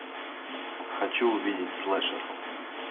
хочу увидеть слэшер